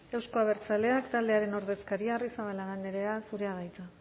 euzko abertzaleak taldearen ordezkaria arrizabalaga andrea zurea da hitza